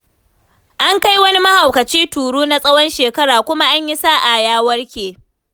An kai wani mahaukaci turu na tsawon shekara kuma an yi sa'a ya warke.